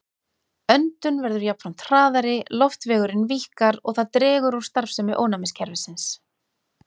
Öndun verður jafnframt hraðari, loftvegurinn víkkar og það dregur úr starfsemi ónæmiskerfisins.